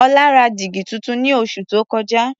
Ọlá ra dígí tuntun ní oṣù tó kọjá.